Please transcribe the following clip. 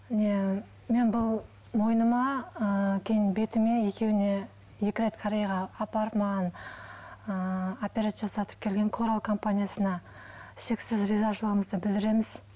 не мен бұл мойныма ы кейін бетіме екеуіне екі рет кореяға апарып маған ыыы операция жасатып келген корал компаниясына шексіз ризашылығымызды білдіреміз